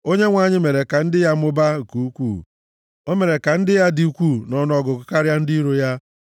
Onyenwe anyị mere ka ndị ya mụbaa nke ukwuu; o mere ka ndị ya dị ukwuu nʼọnụọgụgụ karịa ndị iro ha,